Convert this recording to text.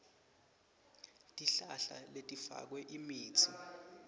tihlahla letifakwe imitsi